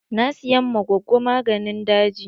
Na siyan ma gogo maganin daji.